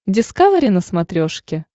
дискавери на смотрешке